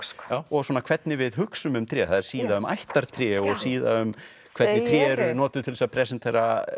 og svona hvernig við hugsum um tré það er síða um ættartré og síða um hvernig tré eru notuð til þess að presentera